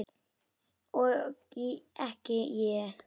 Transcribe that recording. Og ekki ég!